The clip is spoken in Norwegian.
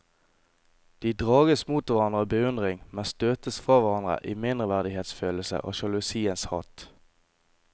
De drages mot hverandre av beundring, men støtes fra hverandre i mindreverdighetsfølelse og sjalusiens hat.